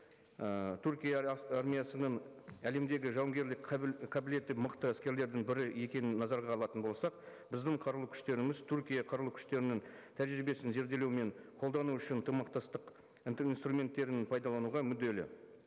ы түркия армиясының әлемдегі жауынгерлік қабылеті мықты әскерлердің бірі екенін назарға алатын болсақ біздің қарулы күштеріміз түркия қарулы күштерінің тәжірибесін зерделеу мен қолдану үшін ынтымақтастық инструменттерін пайдалануға мүдделі